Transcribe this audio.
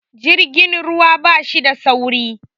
Jirgin ruwa bashi da sauri